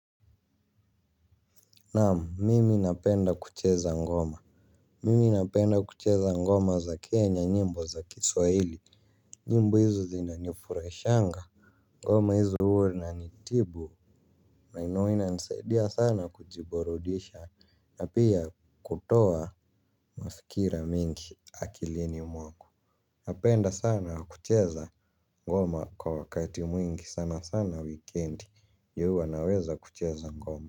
Naam, mimi napenda kucheza ngoma. Mimi napenda kucheza ngoma za Kenya, nyimbo za kiswahili. Nyimbo hizo zinanifurahishanga. Ngoma hizo huwa inanitibu na huwa inanisaidia sana kujiburudisha na pia kutoa mafikira mingi akilini mwangu. Napenda sana kucheza ngoma kwa wakati mwingi, sana sana wikendi ndio huwa naweza kucheza ngoma.